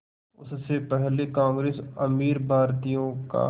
उससे पहले कांग्रेस अमीर भारतीयों का